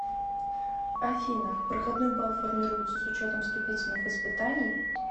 афина проходной бал формируется с учетом вступительных испытаний